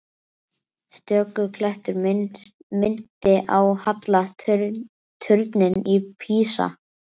Stöku klettur minnti á halla turninn í Písa.